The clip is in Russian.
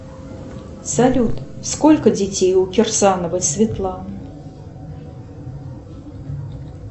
салют сколько детей у кирсановой светланы